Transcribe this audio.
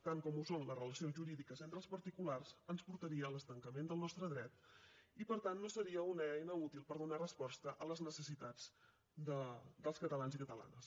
tant com ho són les relacions jurídiques entre els particulars ens portaria a l’estancament del nostre dret i per tant no seria una eina útil per donar resposta a les necessitats dels catalans i catalanes